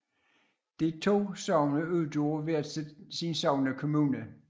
De to sogne udgjorde hver sin sognekommune